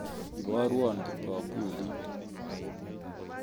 Iborwan kipkobulit